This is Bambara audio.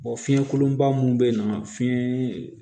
fiɲɛ kolonba mun be yen nɔ fiɲɛ